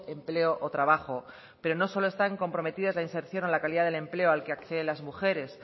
empleo o trabajo pero no solo están comprometidas la inserción o la calidad del empleo al que acceden las mujeres